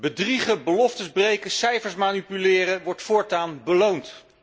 Bedriegen, beloften breken, cijfers manipuleren wordt voortaan beloond.